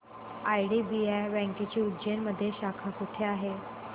IDBI बँकेची उज्जैन मध्ये शाखा कुठे आहे